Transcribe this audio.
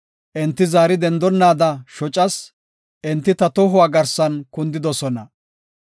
Enti zaari dendonnaada shocas; enti ta tohuwa garsan kundidosona.